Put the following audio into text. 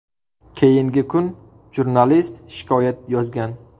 Keyingi kun jurnalist shikoyat yozgan.